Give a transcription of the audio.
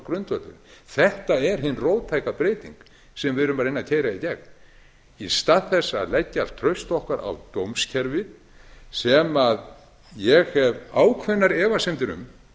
grundvöllurinn þetta er hin róttæka breyting sem við erum að reyna að keyra í gegn í stað þess að leggja allt traust okkar á dómskerfið sem ég hef ákveðnar efasemdir um